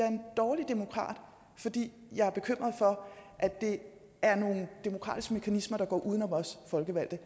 en dårlig demokrat fordi jeg er bekymret for at det er nogle demokratiske mekanismer der går uden om os folkevalgte